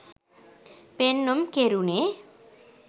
පෙන්නුම් කෙරුනෙ